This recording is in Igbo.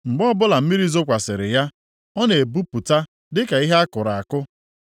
mgbe ọbụla mmiri zokwasịrị ya, ọ na-epupụta dịka ihe a kụrụ akụ.